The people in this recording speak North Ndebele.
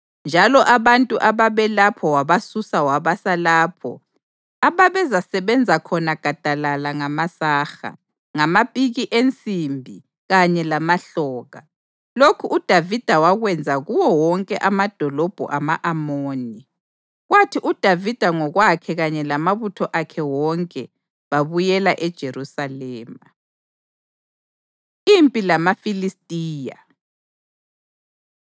njalo abantu ababelapho wabasusa wabasa lapho ababezasebenza khona gadalala ngamasaha, ngamapiki ensimbi kanye lamahloka. Lokhu uDavida wakwenza kuwo wonke amadolobho ama-Amoni. Kwathi uDavida ngokwakhe kanye lamabutho akhe wonke babuyela eJerusalema. Impi LamaFilistiya